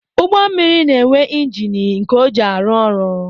Ụgbọmmiri na-enwe njini nke ọ ji arụ ọrụ